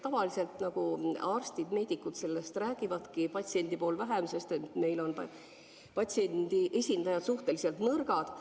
Tavaliselt arstid, meedikud, sellest räägivadki, patsiendipool vähem, sest meil on patsiendi esindajad suhteliselt nõrgad.